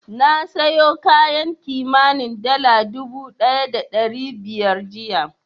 Na sayo kayan kimanin dala dubu ɗaya da ɗari biyar jiya.